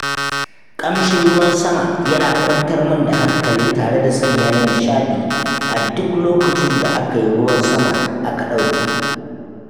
Ƙamshin ruwan sama yana kwantar min da hankali tare da sanya ni nishaɗi a duk lokacin da aka yi ruwan sama aka ɗauke.